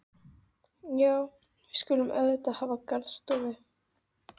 Já, við skulum auðvitað hafa garðstofu.